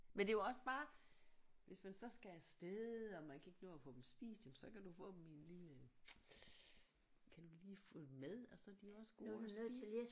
Men det er jo også bare hvis man så skal af sted og man kan ikke nå at få dem spist jamen så kan du få dem i en lille kan du lige få dem med og så er de også gode at spise